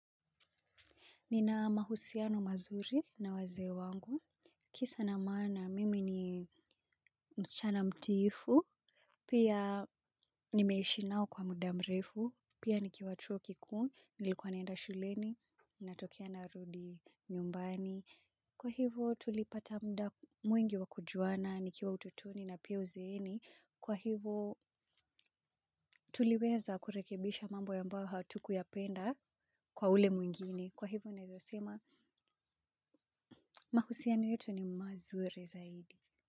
Nina mahusiano mazuri na wazeewangu, kisa na mana mimi ni msichana mtiifu, pia nimeishi nao kwa mudamrefu, pia nikiwa chuokikuu, nilikuwa naenda shuleni, natokea narudi nyumbani. Kwa hivo tulipata mda mwingi wa kujuana, nikiwa utotoni na pia uzeeni, kwa hivo tuliweza kurekebisha mambo ya ambao hatukuyapenda kwa ule mwingine. Kwa hivo naezasema, mahusiani yetu ni mazuri zaidi.